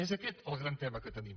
és aquest el gran tema que tenim